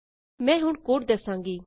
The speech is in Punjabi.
ਮੈਂ ਹੁਣ ਕੋਡ ਦਸਾਂਗੀ